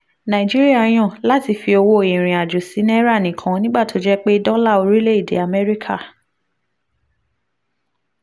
nàìjíríà yàn láti fi owó ìrìn-àjò sí náírà nìkan nígbà tó jẹ́ pé dọ́là orílẹ̀-èdè amẹ́ríkà